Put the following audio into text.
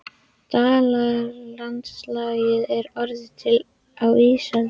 Dalalandslagið er orðið til á ísöld.